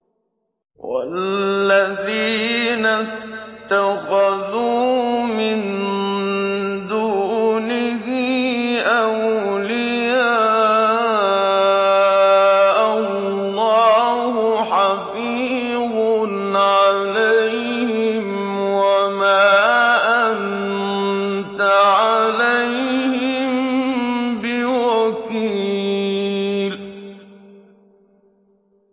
وَالَّذِينَ اتَّخَذُوا مِن دُونِهِ أَوْلِيَاءَ اللَّهُ حَفِيظٌ عَلَيْهِمْ وَمَا أَنتَ عَلَيْهِم بِوَكِيلٍ